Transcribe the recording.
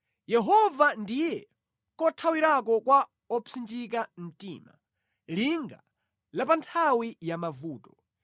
Yehova ndiye kothawirako kwa opsinjika mtima, linga pa nthawi ya mavuto.